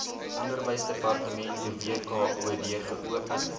onderwysdepartement wkod geopen